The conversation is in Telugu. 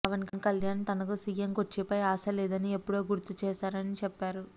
పవన్ కళ్యాణ్ తనకు సీఎం కుర్చీపై ఆశ లేదని ఎప్పుడో చెప్పారని గుర్తు చేశారు